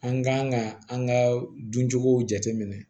An kan ka an ka duncogo jateminɛ